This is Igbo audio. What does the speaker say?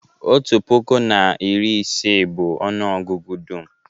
otu puku na iri isii bụ ọnụ ọgụgụ dum